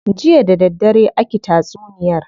Jiya da daddare aki tatsuniyar.